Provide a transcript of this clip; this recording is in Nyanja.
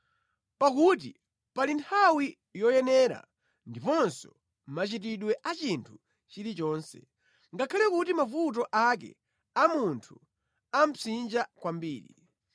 Pakuti pali nthawi yoyenera ndiponso machitidwe a chinthu chilichonse, ngakhale kuti mavuto ake a munthu amupsinja kwambiri.